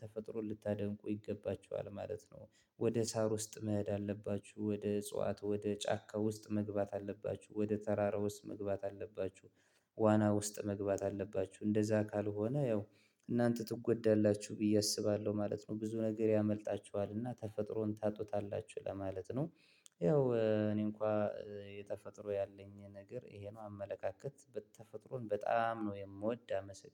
ተፈጥሮ ልታደንቁ ይገባችኋል ማለት ነው። ወደ ሳር ውስጥ መሄድ አለባችሁ። ወደ እጽዋት፣ ወደ ጫካ ውስጥ መግባት አለባችሁ። ወደ ተራራ ውስጥ መግባት አለባችሁ። ዋና ውስጥ መግባት አለባችሁ። እንደዛ ካልሆነ ያው እናንተ ትጎዳላችሁ ብዬ አስባለሁ ማለት ነው። ብዙ ነገር ያመልጣችኋልና ተፈጥሮን ታጡታላችሁ ለማለት ነው። ያው እኔ እንኳን የተፈጥሮ ያለኝ ነገር ይሄ ነው አመለካከት በተፈጥሮን በጣም ነው የምወድ። አመሰግናለሁ